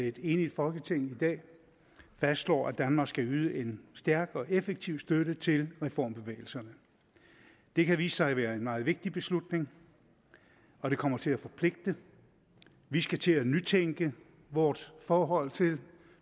et enigt folketing i dag fastslår at danmark skal yde en stærk og effektiv støtte til reformbevægelserne det kan vise sig at være en meget vigtig beslutning og den kommer til at forpligte vi skal til at nytænke vores forhold til